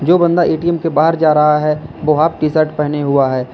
जो बंदा ए_टी_म के बाहर जा रहा हैं वो हॉफ टी शर्ट पहने हुआ हैं।